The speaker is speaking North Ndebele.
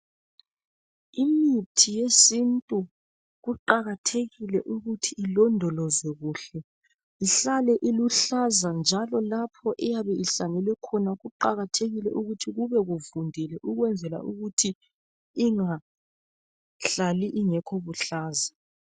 Imithi yesintu kuqakathekile ukuthi ilondolozwe kuhle ihlale iluhlaza njalo lapho eyabe ihlanyelwe khona kuqakathekile ukuthi kube kuvundile ukwenzela ukuthi ingahlali ingekho buhlaza.